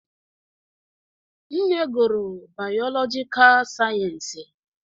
Nne gụrụ biologicaal sayensị